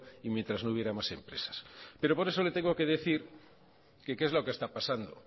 y mientras no hubiera más empresas pero por eso le tengo que decir que qué es lo que está pasando